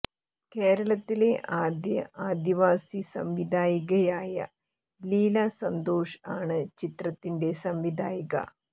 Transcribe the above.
കേരളത്തിലെ ആദ്യ ആദിവാസി സംവിധായികയായ ലീല സന്തോഷ് ആണ് ചിത്രത്തിന്റെ സംവിധായിക